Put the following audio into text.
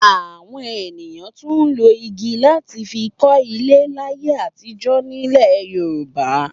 Àwọn ènìyàn tún lo igi láti fi kọ́lé láyé àtijọ́ nílẹ̀ Yorùbá.